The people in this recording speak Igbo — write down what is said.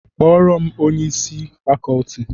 Kpọọrọ m onye isi fakọọti!